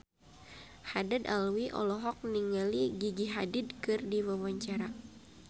Haddad Alwi olohok ningali Gigi Hadid keur diwawancara